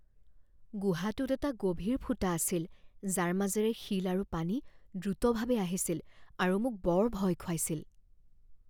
গুহাটোত এটা গভীৰ ফুটা আছিল যাৰ মাজেৰে শিল আৰু পানী দ্ৰুতভাৱে আহিছিল আৰু মোক বৰ ভয় খুৱাইছিল।